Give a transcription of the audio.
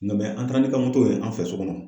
Nka an taara n'i ka moto ye an fɛ so kɔnɔ.